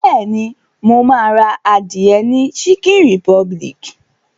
Bẹ́ẹ̀ni, mo ma ra adìẹ ni chicken republic